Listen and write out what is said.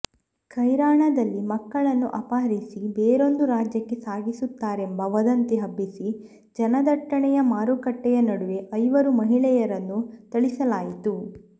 ಕೈರಾಣದಲ್ಲಿ ಮಕ್ಕಳನ್ನು ಅಪಹರಿಸಿ ಬೇರೊಂದು ರಾಜ್ಯಕ್ಕೆ ಸಾಗಿಸುತ್ತಾರೆಂಬ ವದಂತಿ ಹಬ್ಬಿಸಿ ಜನದಟ್ಟಣೆಯ ಮಾರುಕಟ್ಟೆಯ ನಡುವೆ ಐವರು ಮಹಿಳೆಯರನ್ನು ಥಳಿಸಲಾಯಿತು